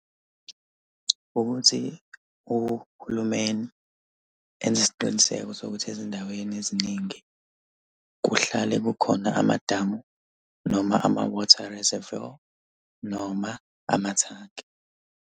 Ukuthi uhulumeni enze isiqiniseko sokuthi ezindaweni eziningi kuhlale kukhona amadamu noma ama-water reservoir noma amathanki.